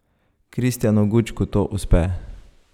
Kristijanu Gučku to uspe.